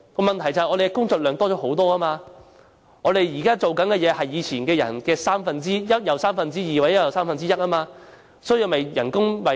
問題是工作量增加了很多，現在的工作量是以往的一又三分之一、一又三分之二，才能保住職位。